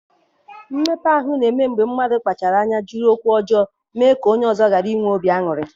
Mmekpa ahụ na-eme mgbe mmadụ kpachara anya jiri okwu ọjọọ mee ka onye ọzọ ghara inwe obi aṅụrị.